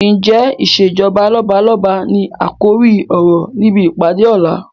Ǹjẹ́ ìsèjọba lọ́balọ́ba ni àkòrí ọ̀rọ̀ níbi ìpàdé ọ̀la?